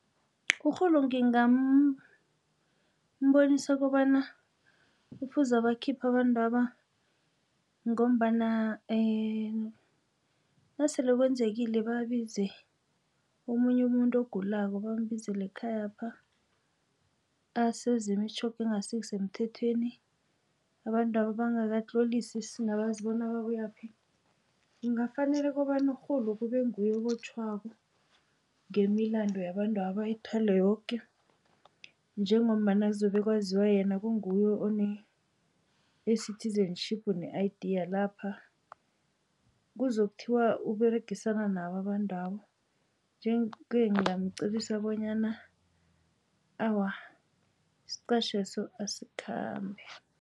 Urhulu ngingambonisa kobana kufuze bakhipha abantwaba ngombana nasele kwenzekile babize omunye umuntu ogulako bambizele ekhayapha asezwe imitjhoga engasisemthethweni abantwaba bangakatloliswa singabazi bona babuyaphi kungafanele kobana urhulu kube nguye obotjhwako ngemilando yabantwaba ayithwale yoke njengombana zobe kwaziwa yena kunguye one-citizenship ne I_D_ yalapha. Kuzokuthiwa uberegisana nabo abantu labo nje-ke ngingamqebisa bonyana awa isiqatjheso asikhambe.